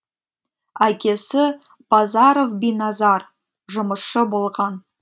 әкесі базаров биназар жұмысшы болған